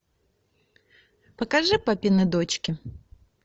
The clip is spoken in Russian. покажи папины дочки